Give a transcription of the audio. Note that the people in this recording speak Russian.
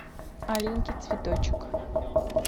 аленький цветочек